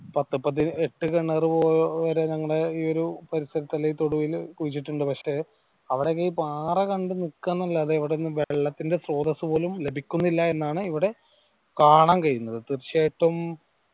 പത്ത് പതി എട്ട്‌ കിണറു വരെ ഈ പരിസരത്ത് അല്ലെ തൊടുവില് കുഴിച്ചിട്ടിണ്ട് പക്ഷെ അവിടൊക്കെ ഈ പാറ കണ്ട് നിക്ക്‌ആ ന്നു അല്ലാതെ അവിടൊന്നു വെള്ളത്തിന്റെ സ്രോതസ് പോലും ലഭിക്കുന്നില്ല എന്നാണ് ഇവിടെ കാണാൻ കഴിയുന്നത് തീർച്ചയായിട്ടും